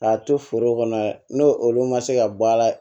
K'a to foro kɔnɔ n'o olu ma se ka bɔ a la